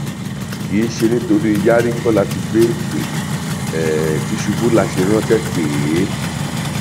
kìí ṣe nítorí yarí kọ láti gbé ìpè um tìṣubù la ṣe ránṣẹ pè um é